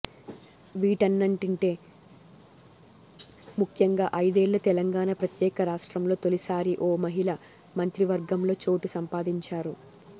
వీటన్నటింటే ముఖ్యంగా ఐదేళ్ల తెలంగాణ ప్రత్యేక రాష్ట్రంలో తొలిసారి ఓ మహిళ మంత్రివర్గంలో చోటు సంపాదించారు